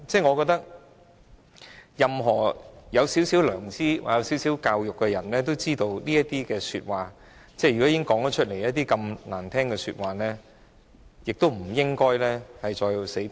我覺得，任何有少許良知或少許教育的人，都知道在說出這麼難聽的說話後，便不應該再"死撐"。